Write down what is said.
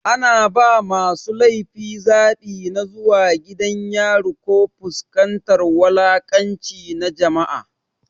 Ana ba masu laifi zaɓi na zuwa gidan yari ko fuskantar wulaƙanci na jama'a.